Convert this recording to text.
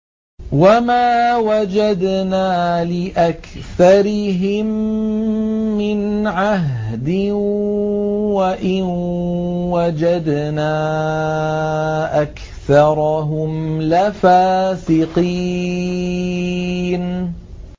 وَمَا وَجَدْنَا لِأَكْثَرِهِم مِّنْ عَهْدٍ ۖ وَإِن وَجَدْنَا أَكْثَرَهُمْ لَفَاسِقِينَ